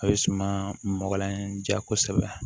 A bɛ suma mɔgɔlan in ja kosɛbɛ